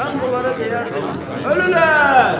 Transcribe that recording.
Mən bunlara deyərdim: Ölürlər!